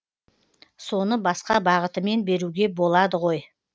соны басқа бағытымен беруге болады ғой